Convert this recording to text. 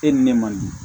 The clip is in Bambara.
E ni ne man di